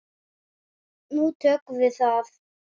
Nú tökum við það